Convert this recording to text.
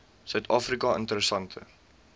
suid afrika interessante